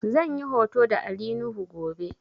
Zan yi hoto da Ali nuhu gobe